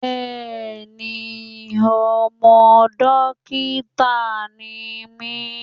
Bẹẹni, ọmọ dókítà ni mí.